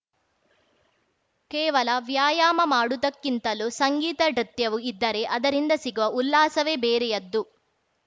ಕೇವಲ ವ್ಯಾಯಾಮ ಮಾಡುವುದಕ್ಕಿಂತಲೂ ಸಂಗೀತ ನೃತ್ಯವೂ ಇದ್ದರೆ ಅದರಿಂದ ಸಿಗುವ ಉಲ್ಲಾಸವೇ ಬೇರೆಯದ್ದು